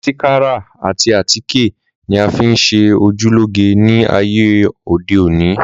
Másíkárà àti àtíkè ni a fi ńṣe ojú lóge ní ayé òde ò ní.